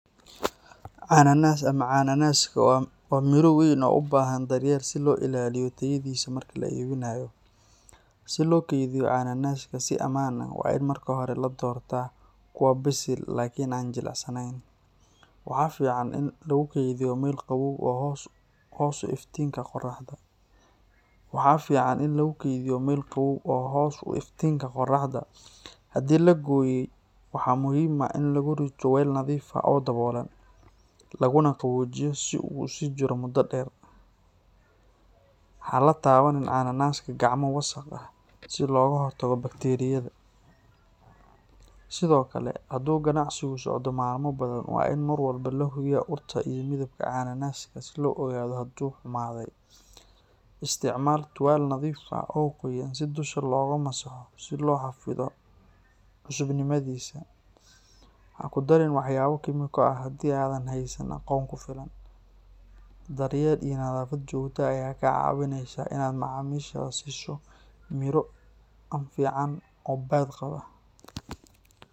Ananas ama cananaaska waa mir weyn oo u baahan daryeel si loo ilaaliyo tayadiisa marka la iibinayo. Si loo keydiyo cananaaska si ammaan ah, waa in marka hore la doortaa kuwa bisil laakiin aan jilicsaneyn. Waxaa fiican in lagu kaydiyo meel qabow oo hoos u iftiinka qoraxda. Haddii la gooyey, waxaa muhiim ah in lagu rito weel nadiif ah oo daboolan, laguna qaboojiyo si uu u sii jiro muddo dheer. Ha la taabanin cananaaska gacmo wasakh ah, si looga hortago bakteeriyada. Sidoo kale, hadduu ganacsigu socdo maalmo badan, waa in mar walba la hubiyaa urta iyo midabka cananaaska si loo ogaado hadduu xumaaday. Isticmaal tuwaal nadiif ah oo qoyan si dusha looga masaxo si loo xafido cusubnimadiisa. Ha ku darin waxyaabo kiimiko ah haddii aadan haysan aqoon ku filan. Daryeel iyo nadaafad joogto ah ayaa kaa caawinaysa inaad macaamiishaada siiso miro anfiican oo badqaba.